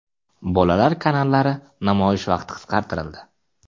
Bolalar kanallari namoyish vaqti qisqartirildi.